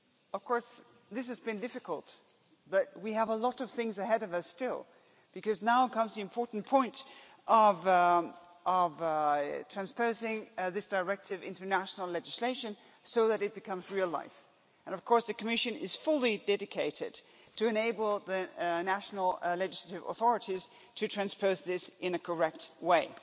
Of course, this has been difficult, but we have a lot of things ahead of us still, because now comes the important point of transposing this directive into national legislation so that it becomes real life, and of course the Commission is fully dedicated to enabling the national legislative authorities to transpose this in a correct way.